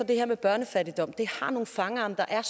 det her med børnefattigdom er nogle fangarme der er